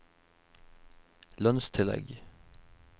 lønnstillegg